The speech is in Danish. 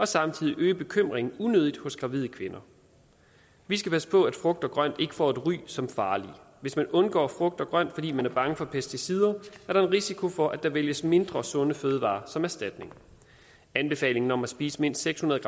samtidig øge bekymringen unødigt hos gravide kvinder vi skal passe på at frugt og grønt ikke får et ry som farligt hvis man undgår frugt og grønt fordi man er bange for pesticider er der en risiko for at der vælges mindre sunde fødevarer som erstatning anbefalingen om at spise mindst seks hundrede